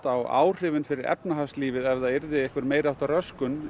á áhrifin fyrir efnahagslífið ef það yrði einhver meiriháttar röskun